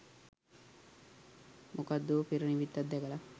මොකද්දෝ පෙරනිමිත්තක් දැකල